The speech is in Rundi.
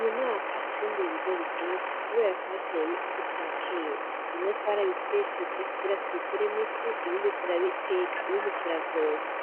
Uyu mwaka twimbuye ibigori vyinshi kubera twateye imbuto ya kera. bimwe twara bisyesheje kugira tubikuremwo ifu, ibindi tura biteka, Ibindi tura vyotsa